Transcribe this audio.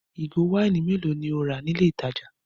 Ìgò wáìnì mélòó ni o rà ní ilé-ìtajà?